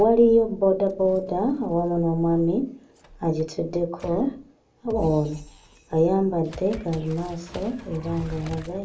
waliyo boodabooda awamu n'omwami agituddeko ono ayambadde gaalumaaso era ng'alaga